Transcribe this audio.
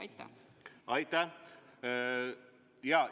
Aitäh!